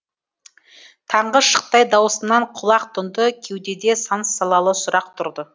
таңғы шықтай даусыңнан құлақ тұнды кеудеде сан салалы сұрақ тұрды